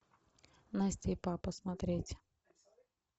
настя и папа смотреть